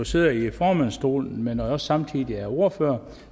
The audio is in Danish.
sidder i formandsstolen men er også samtidig ordfører